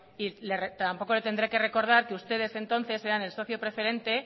y tampoco le tendré que recordar que ustedes entonces eran el socio preferente